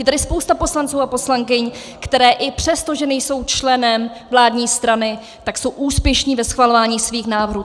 Je tady spousta poslanců a poslankyň, kteří i přesto, že nejsou členy vládní strany, tak jsou úspěšní ve schvalování svých návrhů.